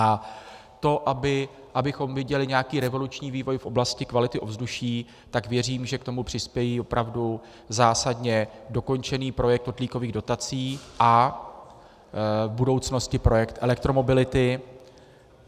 A to, abychom viděli nějaký revoluční vývoj v oblasti kvality ovzduší, tak věřím, že k tomu přispěje opravdu zásadně dokončený projekt kotlíkových dotací a v budoucnosti projekt elektromobility.